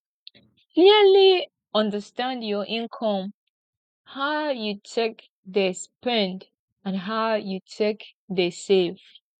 clearly understand your income how you take dey spend and how you take dey save